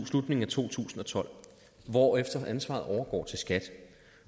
slutningen af to tusind og tolv hvorefter ansvaret overgår til skat